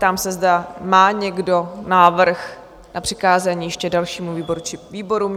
Ptám se, zda má někdo návrh na přikázání ještě dalšímu výboru či výborům?